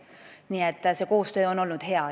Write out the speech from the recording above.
Nii et see koostöö on olnud hea.